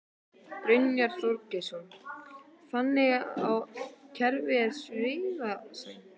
Brynja Þorgeirsdóttir: Þannig að kerfið er svifaseint?